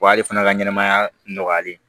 O y'ale fana ka ɲɛnɛmaya nɔgɔyalen ye